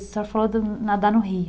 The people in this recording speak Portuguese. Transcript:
A senhora falou de nadar no rio.